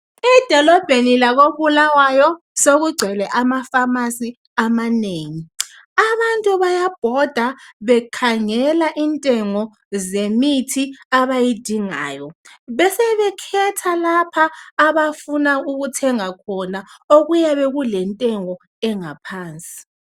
Edolobheni lakoBulawyo sokugcwele ama pharmacy amanengi. Abantu bayabhoda bekhangela intengo zemithi abayidingayo, besebekhetha lapha abafuna ukuthenga khona okuyabe kulentengo engaphansi